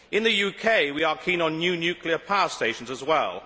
In the UK we are keen on new nuclear power stations as well.